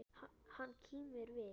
Hann kímir við.